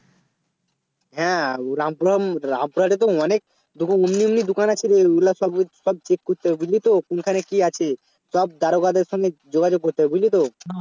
হ্যাঁ Rampuram~Rampurha এ তো অনেক দো এমনি এমনি দোকান আছে ঐ গুলো সব সব check করতে হবে বুঝলি তো কোনখানে কি আছে সব দারোগাদের সাথে যোগাযোগ করতে হবে বুঝলি তো